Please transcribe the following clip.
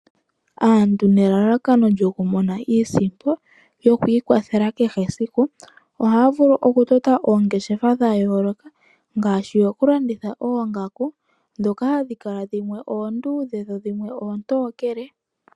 Aantu nelalakano lyokumona iisimpo yokwiikwathela kehe esiku, ohaya vulu okutota oongeshefa dhayooloka ngaashi okulanditha oongaku, dhoka hadhi kala dhimwe oonduudhe, dho dhimwe oontokele.